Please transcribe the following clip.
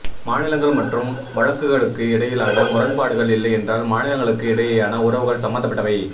மாநிலங்கள் மற்றும் வழக்குகளுக்கு இடையிலான முரண்பாடுகள் இல்லையென்றால் மாநிலங்களுக்கு இடையேயான உறவுகள் சம்பந்தப்பட்டவை